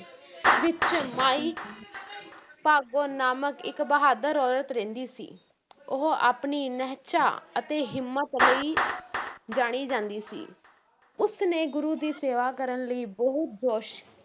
ਵਿੱਚ ਮਾਈ ਭਾਗੋ ਨਾਮਕ ਇੱਕ ਬਹਾਦਰ ਔਰਤ ਰਹਿੰਦੀ ਸੀ ਉਹ ਆਪਣੀ ਨਿਹਚਾ ਅਤੇ ਹਿੰਮਤ ਲਈ ਜਾਣੀ ਜਾਂਦੀ ਸੀ ਉਸਨੇ ਗੁਰੂ ਦੀ ਸੇਵਾ ਕਰਨ ਲਈ ਬਹੁਤ ਜੋਸ਼